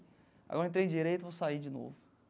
Agora entrei em direito, vou sair de novo.